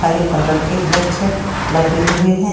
हरे colour के बृक्ष लगे हुए हैं ।